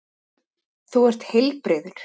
Þú ert ekki heilbrigður!